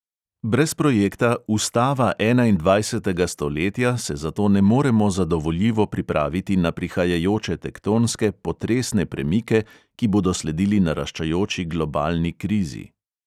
Brez projekta "ustava enaindvajsetega stoletja" se zato ne moremo zadovoljivo pripraviti na prihajajoče tektonske, potresne premike, ki bodo sledili naraščajoči globalni krizi.